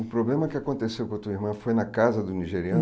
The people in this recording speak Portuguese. O problema que aconteceu com a tua irmã foi na casa do nigeriano?